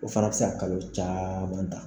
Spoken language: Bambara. O fana bɛ se ka kalo caman ta